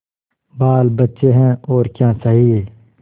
बालबच्चे हैं और क्या चाहिए